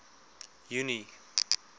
junie